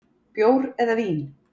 Bjór eða vín.